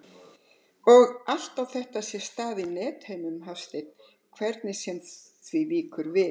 Og allt á þetta sér stað á nethimnum Hafsteins, hvernig sem því víkur við.